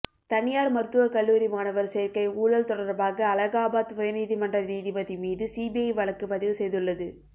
தனியார் மருத்துவக் கல்லூரி மாணவர் சேர்க்கை ஊழல் தொடர்பாக அலகாபாத் உயர்நீதிமன்ற நீதிபதி மீது சிபிஐ வழக்குப் பதிவு செய்துள்ளது